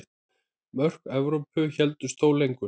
Mörk Evrópu héldust þó lengur.